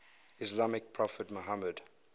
islamic prophet muhammad